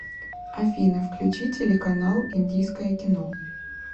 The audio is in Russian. афина включи телеканал индийское кино